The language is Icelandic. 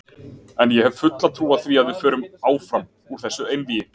En ég hef fulla trú á því að við förum áfram úr þessu einvígi.